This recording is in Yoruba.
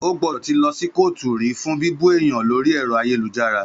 Ó gbọ́dọ̀ tí lọ sí kóòtù rí fún bíbú èèyàn lórí ẹ̀rọ ayélujára